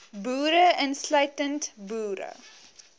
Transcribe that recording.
boere insluitend boere